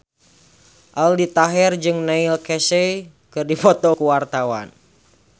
Aldi Taher jeung Neil Casey keur dipoto ku wartawan